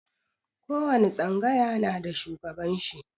Ko wani tsangaya na da shugaban shi.